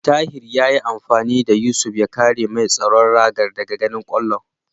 Tahir yayi amfani da Yusuf ya kare mai tsaron ragar daga ganin kwallon.